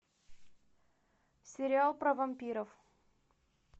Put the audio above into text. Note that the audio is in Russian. сериал про вампиров